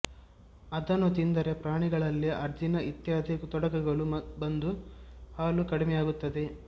ಅದನ್ನು ತಿಂದರೆ ಪ್ರಾಣಿಗಳಲ್ಲಿ ಅಜೀರ್ಣ ಇತ್ಯಾದಿ ತೊಡಕುಗಳು ಬಂದು ಹಾಲು ಕಡಿಮೆಯಾಗುತ್ತದೆ